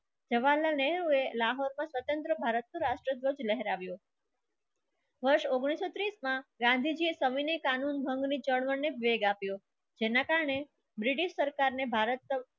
જવાહરલાલ નહેરુ એ લાહોર ને સ્વતંત્ર ભારતની રાષ્ટ્રધ્વજ લેહેરાવો વર્ષ ઉંગ્નીસ સો ત્રીસ માં ગાંધીજી એક કામિની કાનૂન ભંગ ની જેલ આપ્યો જેના કારણે બ્રિટિશ સરકાર ને ભારત